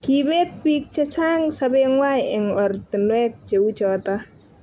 Kibeet bik che chang; sobengwai eng oratinwek cheu choto